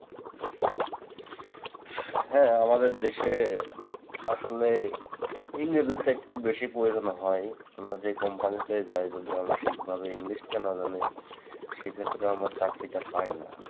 হ্যাঁ, আমাদের দেশে আসলে ইংরেজিটা একটু বেশি প্রয়োজন হয়। আমরা যেই company তেই যাই। যদি আমরা ঠিকভাবে ইংলিশটা না জানি সেক্ষেত্রে আমার চাকরিটা পাই না।